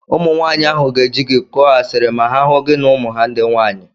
Ụmụnwaanyị ahụ ga-eji gị kụọ asiri ma ha hụ gị na ụmụ ha ndị nwaanyị.